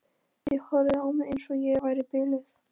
Þeir horfðu á mig eins og ég væri biluð.